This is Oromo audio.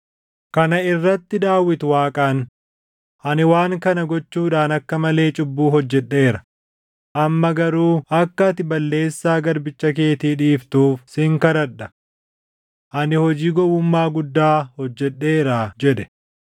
Kana irratti Daawit Waaqaan, “Ani waan kana gochuudhaan akka malee cubbuu hojjedheera. Amma garuu akka ati balleessaa garbicha keetii dhiiftuuf sin kadhadha. Ani hojii gowwummaa guddaa hojjedheeraa” jedhe.